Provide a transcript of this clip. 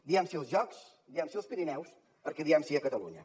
diem sí als jocs diem sí als pirineus perquè diem sí a catalunya